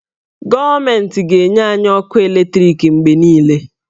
Gọọmentị ga-enye anyị ọkụ eletriki mgbe niile.